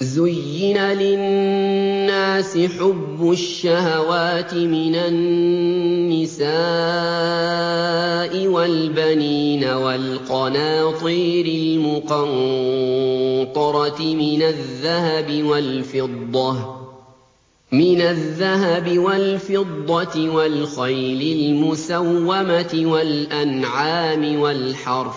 زُيِّنَ لِلنَّاسِ حُبُّ الشَّهَوَاتِ مِنَ النِّسَاءِ وَالْبَنِينَ وَالْقَنَاطِيرِ الْمُقَنطَرَةِ مِنَ الذَّهَبِ وَالْفِضَّةِ وَالْخَيْلِ الْمُسَوَّمَةِ وَالْأَنْعَامِ وَالْحَرْثِ ۗ